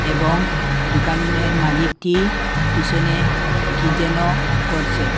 এবং দুকানের মালিকটি পিসনে কি যেন করছে।